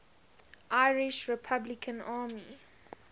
irish republican army